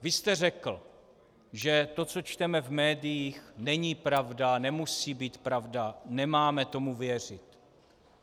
Vy jste řekl, že to, co čteme v médiích, není pravda, nemusí být pravda, nemáme tomu věřit.